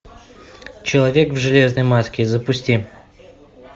человек в железной маске запусти